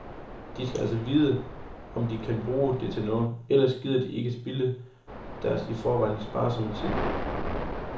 De skal altså vide, om de kan bruge det til noget, ellers gider de ikke spilde deres i forvejen sparsomme tid.